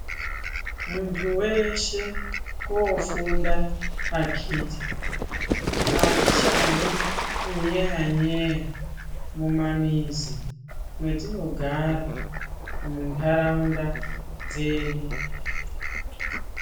Muntu weshe kofunda akiti. Atichadi unyeya nyeya mumamizi mwetinogara muntaraunda dzedu